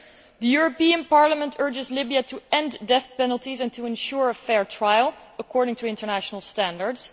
The European Parliament urges Libya to end death penalties and to ensure fair trials in line with international standards.